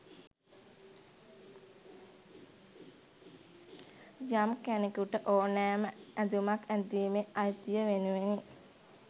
යම් කෙනෙකුට ඕනෑම ඇඳුමක් ඇඳීමේ අයිතිය වෙනුවෙනි.